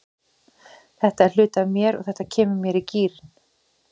Þetta er hluti af mér og þetta kemur mér í gírinn.